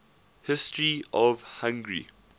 history of hungary